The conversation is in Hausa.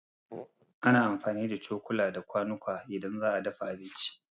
Ana amfani da cokula da kwanuka idan za a dafa abinci.